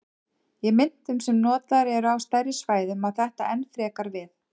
Í myntum sem notaðar eru á stærri svæðum á þetta enn frekar við.